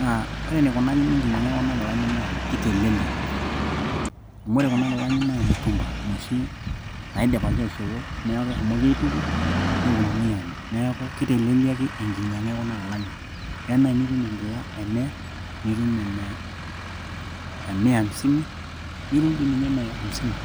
naa ore eneikunakini enkinyiang'a ekuna kilani naaa keitelelek amu ore kuna kilani naa mutumba inoshi naidipaki aishopo neeku keshomoki aituku neponunui aamir neeku keteleliaki enkinyianga ekuna kilanik keya naai nitum enkila e miya nitume ene mia hamsini nitum dii ninye ene amsini.